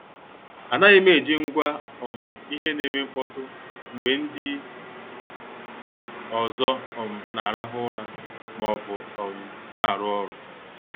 Anaghim eji ngwa um ihe na- eme mkpọtụ mgbe ndị ọzọ um na-arahu ura maọbụ um na-aru ọrụ.